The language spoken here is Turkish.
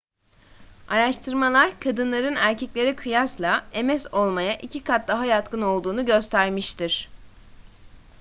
araştırmalar kadınların erkeklere kıyasla ms olmaya iki kat daha yatkın olduğunu göstermiştir